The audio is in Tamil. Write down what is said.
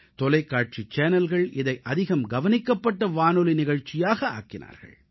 தொலைக்காட்சி சேனல்கள் இதை அதிகம் கவனிக்கப்பட்ட வானொலி நிகழ்ச்சியாக ஆக்கினார்கள்